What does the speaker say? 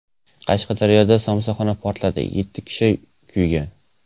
Qashqadaryoda somsaxona portladi, yetti kishi kuygan.